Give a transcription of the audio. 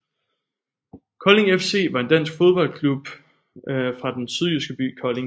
Kolding FC var en dansk fodboldklub fra den sydjyske by Kolding